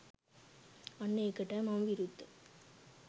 අන්න ඒකටයි මම විරුද්ධ.